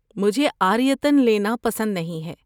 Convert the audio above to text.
مجھے عاریۃً لینا پسند نہیں ہے۔